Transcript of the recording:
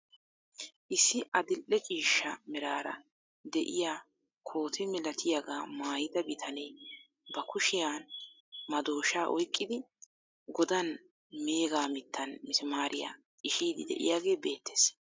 Issi adil"e ciishsha meraara de'iyaa koote malatiyaagaa maayida bitanee ba kushiyaan madooshshaa oyqqidi godaan mega mittaan masimaariyaa xishshiiddi de'yaagee beettees.